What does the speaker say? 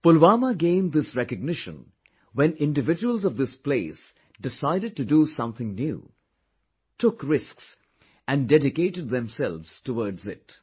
Pulwama gained this recognition when individuals of this place decided to do something new, took risks and dedicated themselves towards it